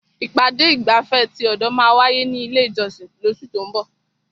Ìpàdé ìgbafẹ́ ti ọ̀dọ̀ máa wáyé ní ilé ìjọsìn lóṣù tó ún bọ̀.